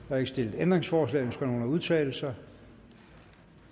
er ikke stillet ændringsforslag ønsker nogen at udtale sig